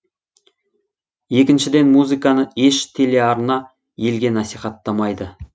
екіншіден музыканы еш телеарна елге насихаттамайды